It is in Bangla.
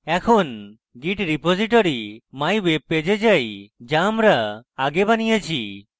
এখন git repository mywebpage we যাই যা আমরা আগে বানিয়েছি